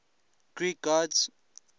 greek gods